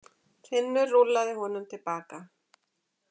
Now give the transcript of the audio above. Finnur rúllaði honum til baka.